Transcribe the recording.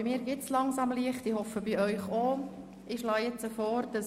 Bei mir stellt sich langsam Licht ein, ich hoffe dies sei auch bei Ihnen der Fall.